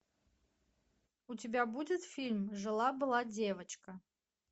у тебя будет фильм жила была девочка